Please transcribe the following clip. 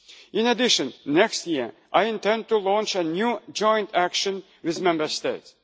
In addition, next year I intend to launch a new joint action with Member